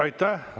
Aitäh!